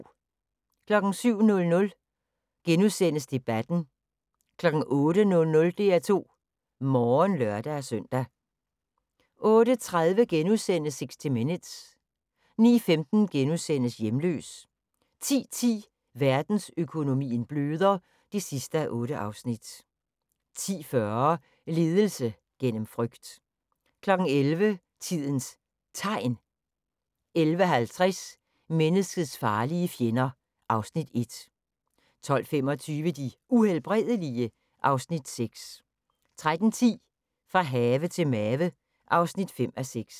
07:00: Debatten * 08:00: DR2 Morgen (lør-søn) 08:30: 60 Minutes * 09:15: Hjemløs * 10:10: Verdensøkonomien bløder (8:8) 10:40: Ledelse gennem frygt 11:00: Tidens Tegn 11:55: Menneskets farlige fjender (Afs. 1) 12:25: De Uhelbredelige? (Afs. 6) 13:10: Fra have til mave (5:6)